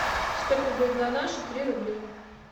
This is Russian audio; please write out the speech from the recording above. сколько будет на наши три рубли